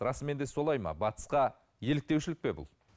расымен де солай ма батысқа еліктеушілік пе бұл